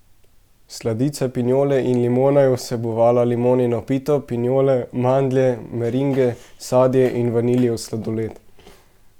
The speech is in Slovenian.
Sladica pinjole in limona je vsebovala limonino pito, pinjole, mandlje, meringe, sadje in vaniljev sladoled.